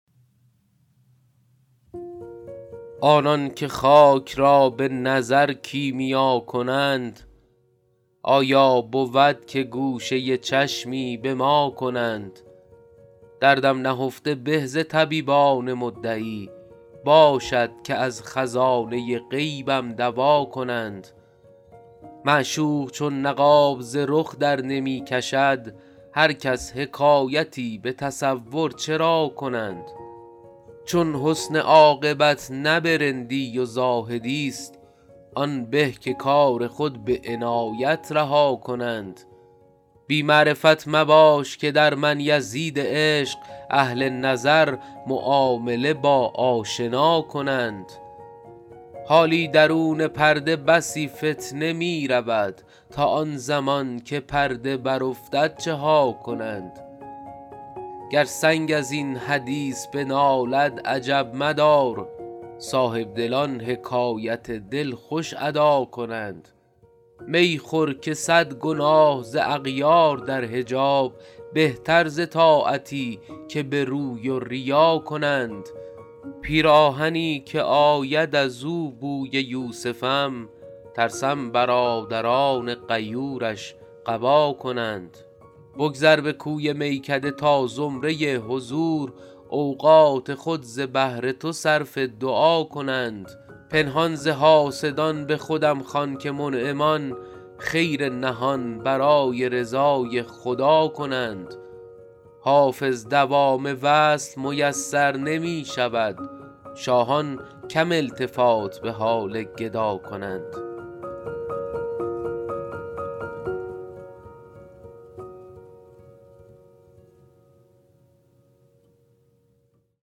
آنان که خاک را به نظر کیمیا کنند آیا بود که گوشه چشمی به ما کنند دردم نهفته به ز طبیبان مدعی باشد که از خزانه غیبم دوا کنند معشوق چون نقاب ز رخ درنمی کشد هر کس حکایتی به تصور چرا کنند چون حسن عاقبت نه به رندی و زاهدی ست آن به که کار خود به عنایت رها کنند بی معرفت مباش که در من یزید عشق اهل نظر معامله با آشنا کنند حالی درون پرده بسی فتنه می رود تا آن زمان که پرده برافتد چه ها کنند گر سنگ از این حدیث بنالد عجب مدار صاحبدلان حکایت دل خوش ادا کنند می خور که صد گناه ز اغیار در حجاب بهتر ز طاعتی که به روی و ریا کنند پیراهنی که آید از او بوی یوسفم ترسم برادران غیورش قبا کنند بگذر به کوی میکده تا زمره حضور اوقات خود ز بهر تو صرف دعا کنند پنهان ز حاسدان به خودم خوان که منعمان خیر نهان برای رضای خدا کنند حافظ دوام وصل میسر نمی شود شاهان کم التفات به حال گدا کنند